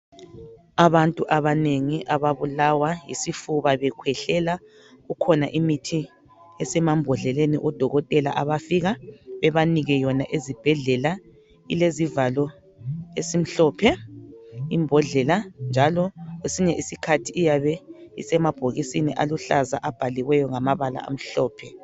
Abantu abanengi ababulawa yisifuba bekhwehlela. Kukhona imithi esemambodleleni odokotela abafika bebanike yona ezibhedlela .Ilezivalo esimhlophe imbodlela njalo kwesinye isikhathi iyabe isemabhokisini aluhlaza abhaliweyo ngamabala amhlophe.